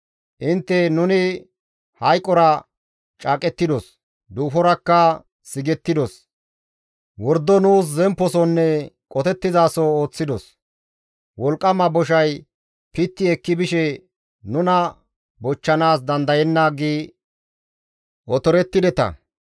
Intte, «Nuni hayqora caaqettidos; duuforakka sigettidos; wordo nuus zempposonne qotettizaso ooththidos; wolqqama boshay pitti ekki bishe nuna bochchanaas dandayenna» gi otorettideta.